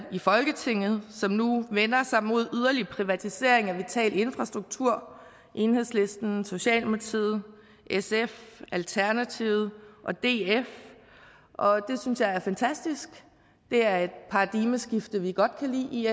i folketinget som nu vender sig mod yderligere privatisering af vital infrastruktur enhedslisten socialdemokratiet sf alternativet og df og det synes jeg er fantastisk det er et paradigmeskifte vi godt kan lide i